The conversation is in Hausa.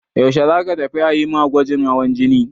Yaushe za ka tafi a yi ma gwajin hawan jini?